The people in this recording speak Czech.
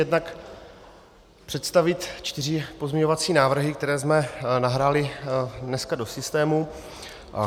Jednak představit čtyři pozměňovací návrhy, které jsme nahráli dneska do systému.